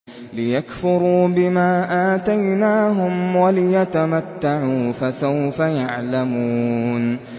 لِيَكْفُرُوا بِمَا آتَيْنَاهُمْ وَلِيَتَمَتَّعُوا ۖ فَسَوْفَ يَعْلَمُونَ